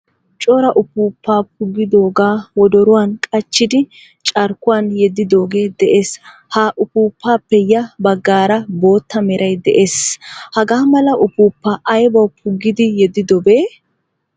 Cora uppuppa puuggidoga wodoruwan qachchidi carkkuwan yeddidoge de'ees. H a uppupappe ya baggaara boottaa meeray de'ees. Hagamala uppupa aybawu puggidi yedidobee?